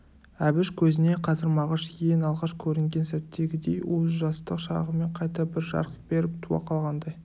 әбіш көзіне қазір мағыш ең алғаш көрінген сәттегідей уыз жастық шағымен қайта бір жарқ беріп туа қалғандай